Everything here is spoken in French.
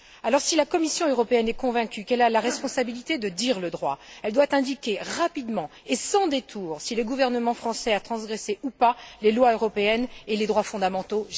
Alors, si la Commission européenne est convaincue qu'elle a la responsabilité de dire le droit, elle doit indiquer rapidement et sans détours si le gouvernement français a transgressé ou non les lois européennes et les droits fondamentaux.